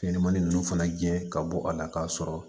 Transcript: Fɛnɲɛnɛmanin ninnu fana jɛ ka bɔ a la k'a sɔrɔ